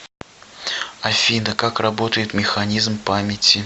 афина как работает механизм памяти